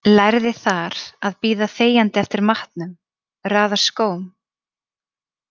Lærði þar að bíða þegjandi eftir matnum, raða skóm.